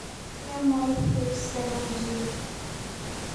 MYH7 gene.